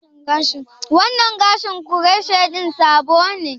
Wannan gashin croshe ɗin sabo ne?